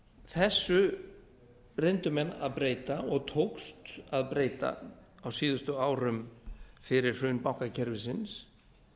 þessu reyndu menn að breyta og tókst að breyta á síðustu árum fyrir hrun bankakerfisins